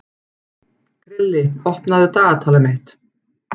Krilli, opnaðu dagatalið mitt.